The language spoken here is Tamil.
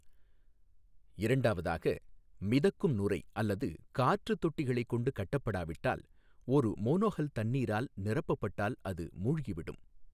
இரண்டாவதாக, மிதக்கும் நுரை அல்லது காற்றுத் தொட்டிகளைக் கொண்டு கட்டப்படாவிட்டால், ஒரு மோனோஹல் தண்ணீரால் நிரப்பப்பப்பட்டால் அது மூழ்கிவிடும்.